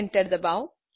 enter ડબાઓ